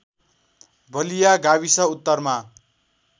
बलिया गाविस उत्तरमा